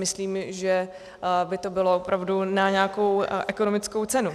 Myslím, že by to bylo opravdu na nějakou ekonomickou cenu.